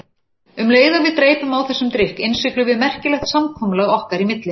Um leið og við dreypum á þessum drykk innsiglum við merkilegt samkomulag okkar í milli.